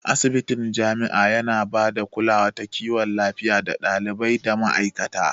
Asibitin jami'a yana ba da bada kulawa ta kiwon lafiya ga ɗalibai da ma'aikata.